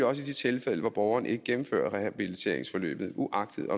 også i de tilfælde hvor borgeren ikke gennemfører rehabiliteringsforløbet uagtet